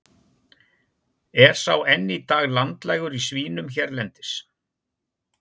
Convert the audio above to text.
er sá enn í dag landlægur í svínum hérlendis